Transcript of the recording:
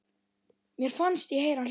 Mér fannst ég heyra hljóð.